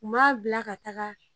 U b'a bila ka taga.